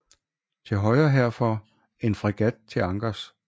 Til højre herfor en fregat til ankers